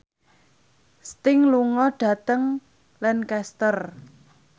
Sting lunga dhateng Lancaster